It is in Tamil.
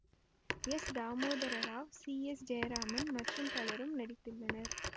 S Damodara Rao C S Jayaraman மற்றும் பலரும் நடித்துள்ளனர்